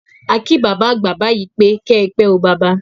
À kí bábá àgbà báyìi 'kẹ́ pẹ́ o baba'